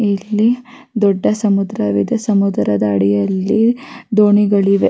ಈ ಚಿತ್ರ ನೋಡಬಹುದಾದರೆ ಆಕಾಶ ಬಿಳಿಯ ಬಣ್ಣ--